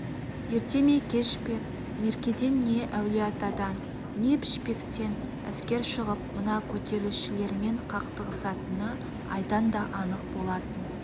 ерте ме кеш пе меркеден не әулие-атадан не пішпектен әскер шығып мына көтерілісшілермен қақтығысатыны айдан да анық болатын